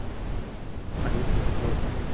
олеся петровна